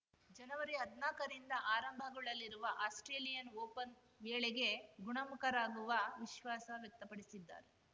ಜನವರಿಹದ್ನಾಕರಿಂದ ಆರಂಭಗೊಳ್ಳಲಿರುವ Australian Open ವೇಳೆಗೆ ಗುಣಮುಖರಾಗುವ ವಿಶ್ವಾಸ ವ್ಯಕ್ತಪಡಿಸಿದ್ದಾರೆ